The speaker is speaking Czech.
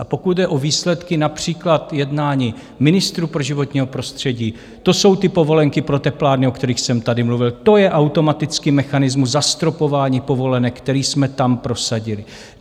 A pokud jde o výsledky, například jednání ministrů pro životní prostředí, to jsou ty povolenky pro teplárny, o kterých jsem tady mluvil, to je automatický mechanismus zastropování povolenek, který jsme tam prosadili.